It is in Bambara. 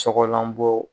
Sɔgɔlanbɔ